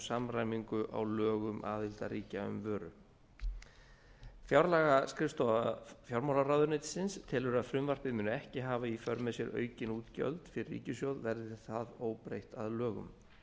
samræmingu á lögum aðildarríkja um vöru fjárlagaskrifstofa fjármálaráðuneytisins telur að frumvarpið muni ekki hafa í för með sér aukin útgjöld fyrir ríkissjóð verði það óbreytt að lögum